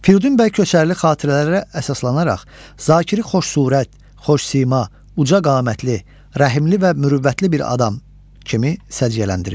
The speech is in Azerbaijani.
Firidun bəy Köçərli xatirələrə əsaslanaraq Zakiri xoşsurət, xoşsima, ucaqamətli, rəhimli və mürüvvətli bir adam kimi səciyyələndirir.